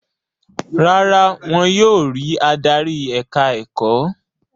Rárá, wọn yóò rí adarí ẹ̀ka-ẹ̀kọ́.